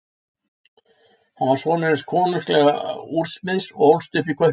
Hann var sonur hins konunglega úrsmiðs og ólst upp í Kaupmannahöfn.